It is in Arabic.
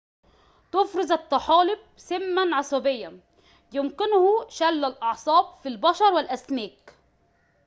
تفرز الطحالب سماً عصبياً يمكنه شل الأعصاب في البشر والأسماك